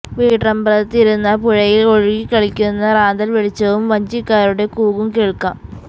വീട്ടിറമ്പറത്ത് ഇരുന്നാൽ പുഴയിൽ ഒഴുകിക്കളിക്കുന്ന റാന്തൽ വെളിച്ചവും വഞ്ചിക്കാരുടെ കൂക്കും കേൾക്കാം